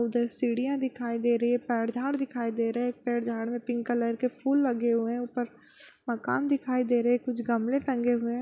उधर सीढियाँ दिखाई दे रही है पेड़ झाड़ दिखाई दे रहे पेड़ झाड़ मे पिंक कलर के फूल लगे हुए है ऊपर मकान दिखाई दे रहे कुछ गमले टंगे हुए --।